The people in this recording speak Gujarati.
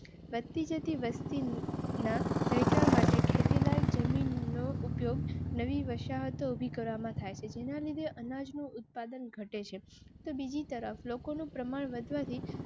પતિ જતી વસ્તી બેઠક માટે ખેતી લાયક જમીન નો ઉપયોગ નવી વસાહત ઉભી કરવામાં થાય છે. જેના લીધે અનાજ નું ઉત્પાદન ઘટે છે તો બીજી તરફ લોકો નું પ્રમાણ વધવા થી